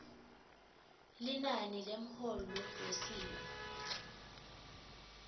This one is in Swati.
linani lemholo wesimo